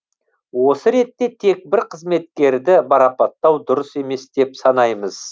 осы ретте тек бір қызметкерді марапаттау дұрыс емес деп санаймыз